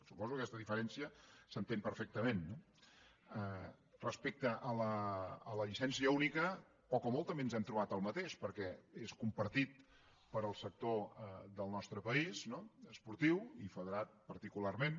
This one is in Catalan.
suposo que aquesta diferència s’entén perfectament no respecte a la llicència única poc o molt també ens hem trobat el mateix perquè és compartit pel sector del nostre país esportiu i federat particularment